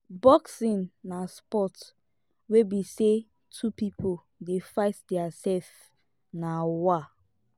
boxing na sport wey be sey two pipo dey fight their self [um]na wa.